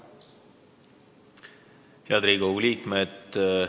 Head Riigikogu liikmed!